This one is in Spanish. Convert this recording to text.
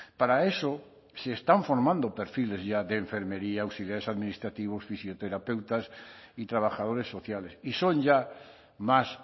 para eso se están forman do perfiles ya de enfermería auxiliares administrativos fisioterapeutas y trabajadores sociales y son ya más